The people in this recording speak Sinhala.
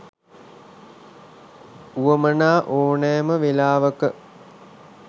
උවමනා ඕනෑම වෙලාවක